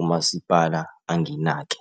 umasipala anginake.